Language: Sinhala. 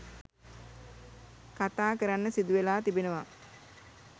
කතා කරන්න සිදුවෙලා තිබෙනවා.